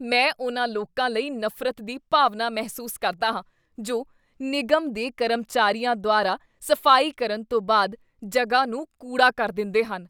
ਮੈਂ ਉਨ੍ਹਾਂ ਲੋਕਾਂ ਲਈ ਨਫ਼ਰਤ ਦੀ ਭਾਵਨਾ ਮਹਿਸੂਸ ਕਰਦਾ ਹਾਂ ਜੋ ਨਿਗਮ ਦੇ ਕਰਮਚਾਰੀਆਂ ਦੁਆਰਾ ਸਫ਼ਾਈ ਕਰਨ ਤੋਂ ਬਾਅਦ ਜਗ੍ਹਾ ਨੂੰ ਕੂੜਾ ਕਰ ਦਿੰਦੇਹਨ।